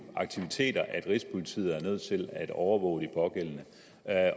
aktiviteter at rigspolitiet er nødt til at overvåge de pågældende